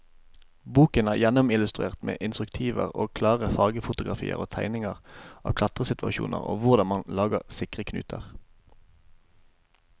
Boken er gjennomillustrert med instruktive og klare fargefotografier og tegninger av klatresituasjoner og hvordan man lager sikre knuter.